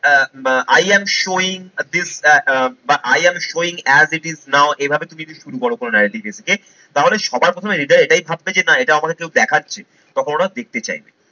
Ah I am showing this ah বা I am showing, as it is now এভাবে তুমি যদি তাহলে সবার প্রথমে হৃদয়, এটাই ভাববে যে না এটা আমাকে কেউ দেখাচ্ছে, তখন ওরা দেখতে চাইবে।